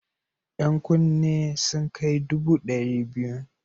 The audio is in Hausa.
Yan kunne sun kai dubu ɗari biyu.